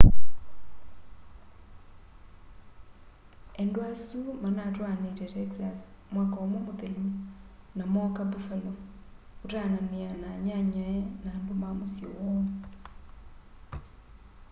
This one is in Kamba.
endwa asu manatwaanite texas mwaka umwe muthelu na mooka buffalo kutaanania na anyanyae na andu ma musyi woo